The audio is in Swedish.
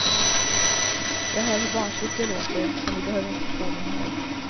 Jag hör hur barnsligt det låter, så ni behöver inte påminna mig.